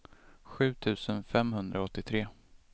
sju tusen femhundraåttiotre